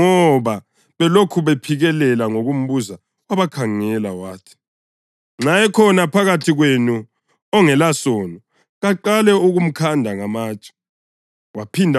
Kwathi ngoba belokhu bephikelela ngokumbuza wabakhangela wathi kubo, “Nxa ekhona phakathi kwenu ongelasono kaqale ukumkhanda ngamatshe.”